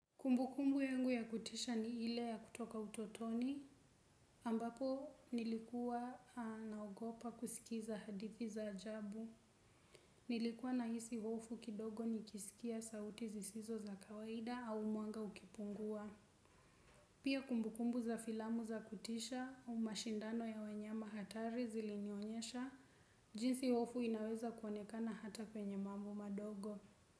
Kumbukumbu yangu ya kutisha ni ile ya kutoka utotoni, ambapo nilikuwa na ogopa kusikiza hadithi za ajabu. Nilikuwa nahisi hofu kidogo nikisikia sauti zisizo za kawaida au mwanga ukipungua. Pia kumbukumbu za filamu za kutisha, au mashindano ya wanyama hatari zilinioyonyesha, jinsi hofu inaweza kuonekana hata kwenye mambo madogo.